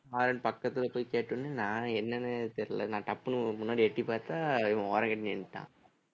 horn பக்கத்துல போய் கேட்டவுடனே நான் என்னன்னே தெரியலை நான் டப்புன்னு உங்க முன்னாடி எட்டிப்பார்த்தா இவன் ஓரங்கட்டி நின்னுட்டான்